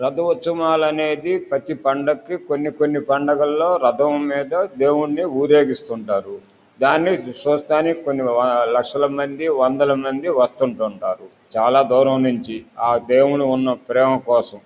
రథం ఉత్సవాల అనేది ప్రతి పండక్కి కొన్ని కొన్ని పండగల్లో రథం మీద దేవుణ్ణి ఊరేగిస్తుంటారు. దాన్ని చూడ్డానికి కొన్ని లక్షల మంది వందల మంది వస్తుంతుంటారు చాలా దూరం నుంచి ఆ దేవుడి ఉన్న ప్రేమ కోసం.